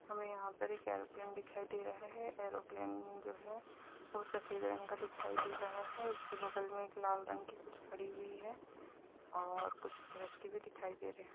हमे यहा पर एक एरोप्लेन दिखाई दे रहे है। एरोप्लेन जो है वो सफ़ेद रंग का दिखाई दे रहा है। उसके बगल मे एक लाल रंग की कुछ खड़ी हुई है। और कुछ व्यक्ति भी दिखाई दे रहे।